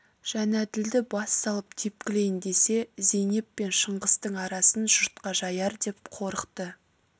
жәнәділді бас салып тепкілейін десе зейнеп пен шыңғыстың арасын жұртқа жаяр деп қорықты